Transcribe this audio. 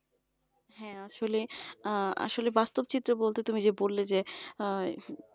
হ্যাঁ আসলে আহ আসলে বাস্তব চিত্র বলতে তুমি যে বললে যে আহ